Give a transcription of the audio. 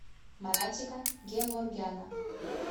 маратика геворгяна